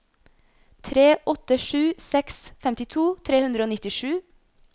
tre åtte sju seks femtito tre hundre og nittisju